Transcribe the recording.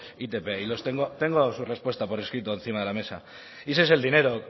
itp y los tengo tengo su respuesta por escrito encima de la mesa y ese es el dinero